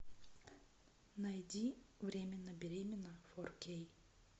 найди временно беременна фор кей